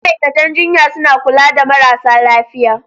Ma'aikatan jinya suna kula da marasa lafiya.